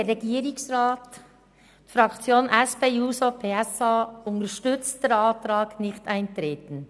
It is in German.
Die SP-JUSO-PSAFraktion unterstützt den Antrag auf Nichteintreten.